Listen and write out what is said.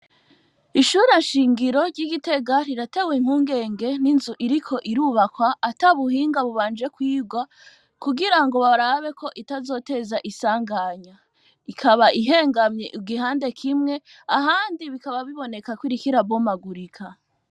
ishure shingiro ry'igitega riratewe impungenge n'inzu iriko irubakwa ata buhinga bubanje kwirwa kugira ngo barabe itazoteza isanganya ikaba ihengamye igihande kimwe ahandi bikaba biboneka kiriko irabomagurika.